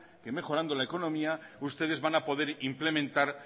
que mejorando la economía ustedes van a poder implementar